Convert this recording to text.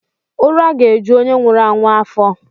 uraga-eju onye nwuru anwu afo.